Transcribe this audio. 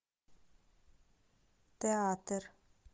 театр